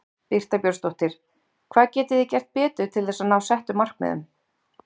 Birta Björnsdóttir: Hvað getið þið gert betur til þess að ná settum markmiðum?